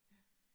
Ja